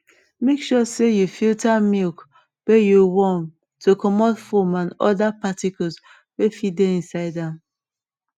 make sure sey you filter milk wey yo warm to comot foam and other particles wey fit dey inside am